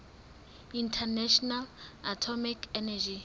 international atomic energy